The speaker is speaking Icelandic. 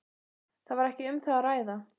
Það var ekki um það að ræða.